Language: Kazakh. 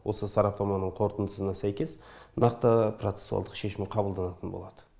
осы сараптаманың қорытындысына сәйкес нақты процесуалдық шешім қабылданатын болады